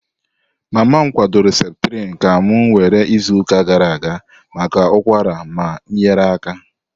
Mama m kwadoro Septrin ka m were izuụka gara aga maka ụkwara ma nyere aka.